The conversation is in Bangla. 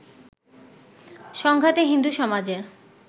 সংঘাতে হিন্দু সমাজের